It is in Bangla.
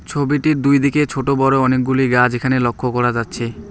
ছবিটির দুইদিকে ছোটো বড়ো অনেকগুলি গাছ এখানে লক্ষ্য করা যাচ্ছে।